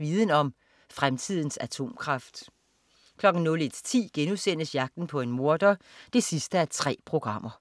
Viden Om: Fremtidens atomkraft* 01.10 Jagten på en morder 3:3*